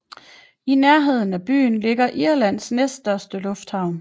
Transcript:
I nærheden af byen ligger Irlands næststørste lufthavn